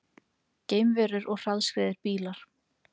Geimverur og hraðskreiðir bílar